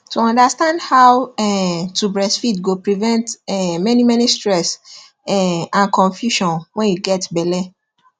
to understand how um to breastfeed go prevent um many many stress um and confusion when you get belle